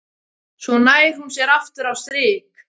Svo nær hún sér aftur á strik.